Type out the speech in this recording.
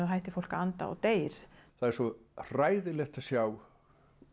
hættir fólk að anda og deyr það er svo hræðilegt að sjá